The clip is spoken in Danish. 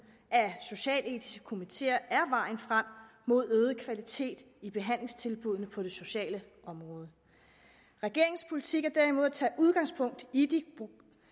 af socialetiske komiteer er vejen frem mod øget kvalitet i behandlingstilbuddene på det sociale område regeringens politik er derimod at tage udgangspunkt i de